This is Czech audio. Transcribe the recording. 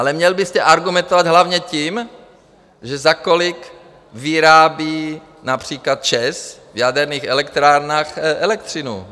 Ale měl byste argumentovat hlavně tím, za kolik vyrábí například ČEZ v jaderných elektrárnách elektřinu.